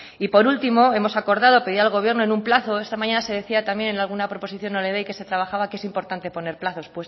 y por último hemos acordado pedir al gobierno en un plazo esta mañana se decía también en alguna proposición no de ley que se trabajaba que es importante poner plazos